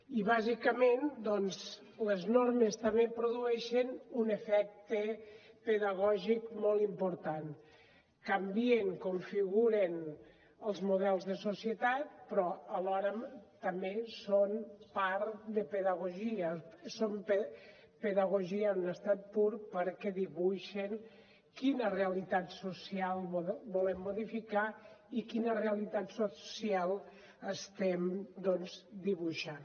i bàsicament les normes també produeixen un efecte pedagògic molt important canvien configuren els models de societat però alhora també són part de pedagogia són pedagogia en estat pur perquè dibuixen quina realitat social volen modificar i quina realitat social estem doncs dibuixant